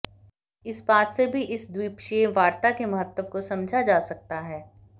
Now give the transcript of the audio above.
इस बात से भी इस द्वीपक्षीय वार्ता के महत्व को समझा जा सकता है